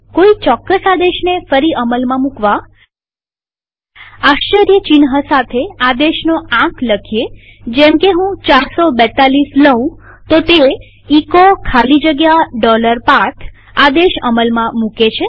કોઈ ચોક્કસ આદેશને ફરી અમલમાં મુકવા આશ્ચર્યચિહ્ન સાથે આદેશનો આંક લખો જેમકે હું 442 લઉં તો તે એચો ખાલી જગ્યા path આદેશ અમલમાં મુકે છે